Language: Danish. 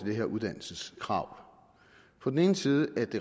det her uddannelseskrav på den ene side